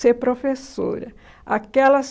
ser professora. Aquelas